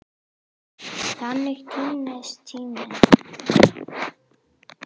Þannig týnist tíminn.